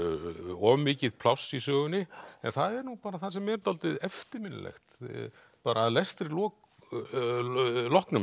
of mikið pláss í sögunni en það er nú bara það sem er dálítið eftirminnilegt að lestri loknum